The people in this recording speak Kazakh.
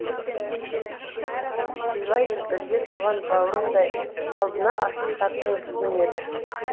сыйлайды бірге туған бауырындай алдына ақиқаттың жүгінгенді